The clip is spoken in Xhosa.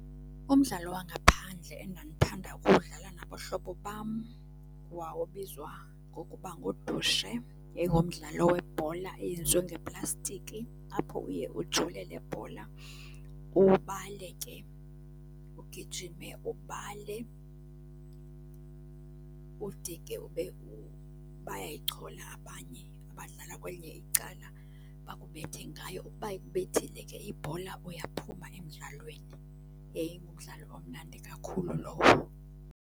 Umdlalo wangaphandle endandithanda uwudlala nabahlobo bam wawubizwa ngokuba ngudushe. Yayingumdlalo webhola eyenziwe ngeplastiki, apho uye ujule le bhola ubale ke, ugijime ubale ude ke ube bayayichola abanye abadlala kwelinye icala bakubethe ngayo. Uba ikubethile ke ibhola uyaphuma emdlalweni. Yayingumdlalo omnandi kakhulu lowo.